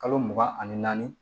Kalo mugan ani naani